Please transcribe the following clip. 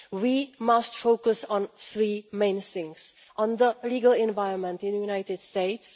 We must focus on three main things the legal environment in the United States